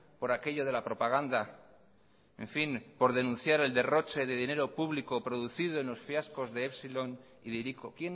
por aquello de la propaganda en fin por denunciar el derroche de dinero público producido en los fiascos de epsilon y de hiriko